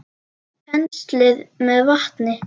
Penslið með vatni.